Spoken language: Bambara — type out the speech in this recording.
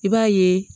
I b'a ye